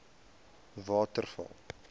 waterval